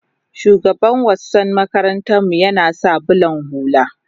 shugaban wassan makaranta mu yana sa bulan hulla